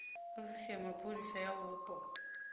ofisi ya mapholisa ya vhupo